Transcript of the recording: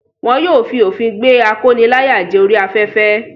Wọn yóò fi òfin gbé akóniláyàjẹ orí afẹ́fẹ́.